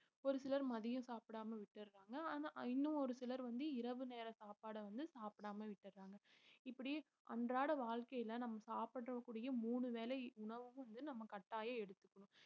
ஒரு சிலர் மதியம் சாப்பிடாம விட்டறாங்க ஆனா இன்னும் ஒரு சிலர் வந்து இரவு நேர சாப்பாட வந்து சாப்பிடாம விட்டறாங்க இப்படி அன்றாட வாழ்க்கையில நம்ம சாப்பிடக்கூடிய மூணு வேளை உணவும் வந்து நம்ம கட்டாயம் எடுத்துக்கணும்